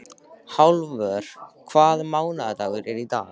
Hallvör, hvaða mánaðardagur er í dag?